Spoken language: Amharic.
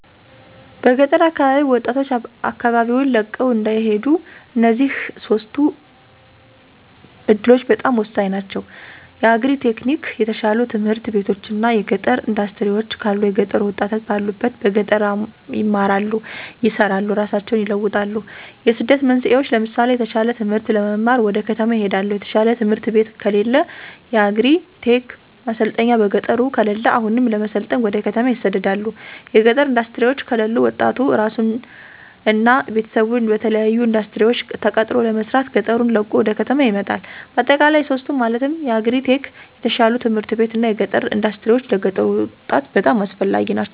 በገጠር አካባቢ ወጣቶች አካባቢወን ለቀው እንዳይሄዱ እነዚህ ሶስቱ እዱሎች በጣም ሆሳኝ ናቸው። የአግሪ-ቴክኒክ፣ የተሻሉ ትምህርት ቤቶች እና የገጠር እንዳስትሪወች ካሉ የገጠሩ ወጣት ባሉበት በገጠር ይማራሉ፣ ይሰራሉ እራሳቸውን ይለውጣሉ። የስደት መንስኤወች ለምሳሌ የተሻለ ትምህርት ለመማር ወደ ከተማ ይሄዳሉ። የተሻለ ትምህርት ቤት ከለለ። የአግሪ-ቴክ ማሰልጠኛ በገጠሩ ከለለ አሁንም ለመሰልጠን ወደ ከተማ ይሰደዳሉ። የገጠር እንዳስትሪወች ከለሉ ወጣቱ እራሱን እና ቤተሰቡን በተለያሉ እንዳስትሪወች ተቀጥሮ ለመስራት ገጠሩን ለቆ ወደ ከተማ ይመጣል። በአጠቃላይ ሶስቱ ማለትም የአግሪ-ቴክ፣ የተሻሉ ት/ቤቶች እና የገጠር እንዳስትሪወች ለገጠሩ ወጣት በጣም አስፈላጊ ናቸው።